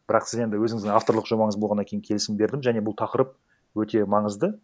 бірақ сіз енді өзіңіздің авторлық жобаңыз болғаннан кейін келісім бердім және бұл тақырып өте маңызды